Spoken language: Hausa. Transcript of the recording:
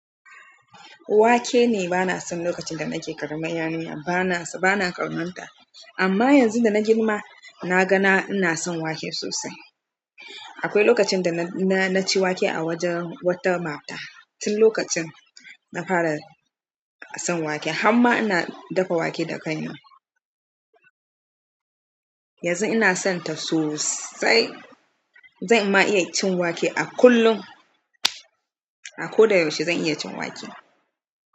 Wake ne, bana so lokacin da nake ƙaramar yarinya bana. Bana ƙauna ta amma yanzu da na girma na ga na ina son wake sosai. Akwai lokacin da na ci wake a wajen wata mata. Tin lokacin na fara son wake, har ma ina dafa wake da ƙaina. Yanzu ina son ta sosai. Zan ma iya cin wake a kullum. A ko da yaushe zan iya cin wake.